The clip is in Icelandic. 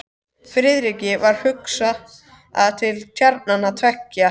Friðriki varð hugsað til tjarnanna tveggja í